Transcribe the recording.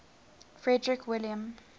frederick william